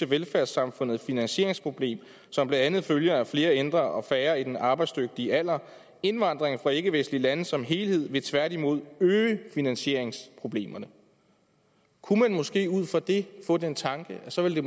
velfærdssamfundets finansieringsproblem som blandt andet følger af flere ældre og færre i den arbejdsdygtige alder indvandring fra ikke vestlige lande som helhed vil tværtimod øge finansieringsproblemet kunne man måske ud fra det få den tanke at det så ville